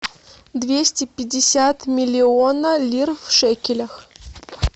двести пятьдесят миллиона лир в шекелях